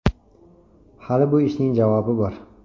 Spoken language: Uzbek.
Hali bu ishning javobi bor.